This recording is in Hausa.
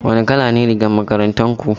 Wane kala ne rigar makarantar ku?